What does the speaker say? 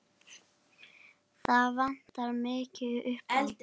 Það vantar mikið upp á.